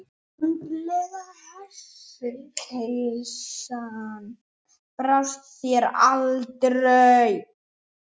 Andlega heilsan brást þér aldrei.